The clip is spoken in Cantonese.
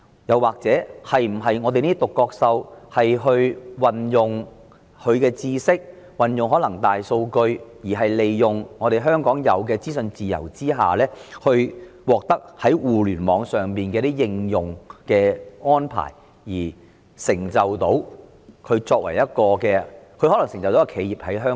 又或這些"獨角獸"能否運用其知識或大數據，利用香港享有的資訊自由，借助互聯網的應用而成就一間本地企業？